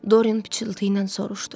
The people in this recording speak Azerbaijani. Doryan pıçıltı ilə soruşdu.